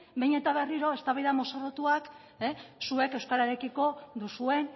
behin eta berriro eztabaida mozorrotuak zuek euskararekiko duzuen